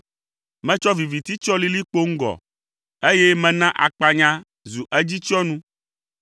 Metsɔ viviti tsyɔ lilikpo ŋgɔ, eye mena akpanya zu edzitsyɔnu.”